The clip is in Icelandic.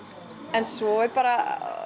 en svo er bara